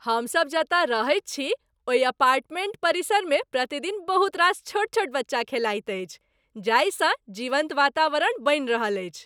हमसब जतय रहैत छी, ओहि अपार्टमेंट परिसरमे प्रतिदिन बहुत रास छोट छोट बच्चा खेलाइत अछि, जाहिसँ जीवन्त वातावरण बनि रहल अछि।